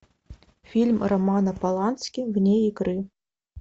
фильм романа полански вне игры